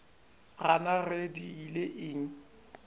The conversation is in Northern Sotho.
gana ge di ile eng